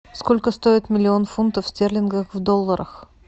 сколько стоит миллион фунтов стерлингов в долларах